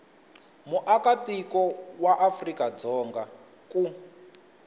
muakatiko wa afrika dzonga ku